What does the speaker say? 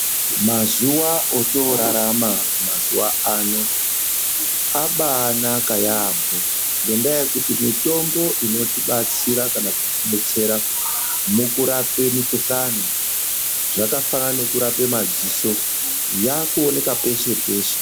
Mazuwa otoorarama mazuwaano abaanaka yaamho ngendaa yekuti mitombo inotibatsira kana kutidetsera mukurape mikuhlani zvakafanana kana nekurape madziso yaakuonekwa peshe peshe.